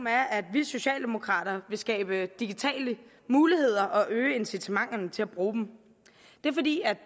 er at vi socialdemokrater vil skabe digitale muligheder og øge incitamenterne til at bruge dem det er fordi